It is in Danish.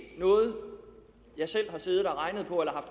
noget jeg selv har siddet og regnet på eller